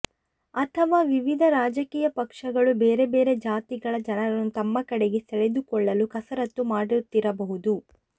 ಅಥವಾ ವಿವಿಧ ರಾಜಕೀಯ ಪಕ್ಷಗಳು ಬೇರೆ ಬೇರೆ ಜಾತಿಗಳ ಜನರನ್ನು ತಮ್ಮ ಕಡೆಗೆ ಸೆಳೆದುಕೊಳ್ಳಲು ಕಸರತ್ತು ಮಾಡುತ್ತಿರಬಹುದು